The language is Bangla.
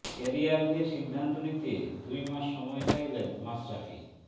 ক্যারিয়ার নিয়ে সিদ্ধান্ত নিতে দুই মাস সময় চাইলেন মাশরাফি